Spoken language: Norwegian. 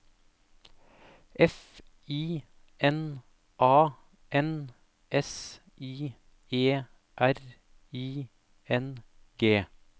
F I N A N S I E R I N G